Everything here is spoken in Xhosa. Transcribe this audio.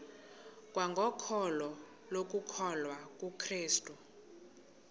kwangokholo lokukholwa kukrestu